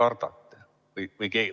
Keda te kardate?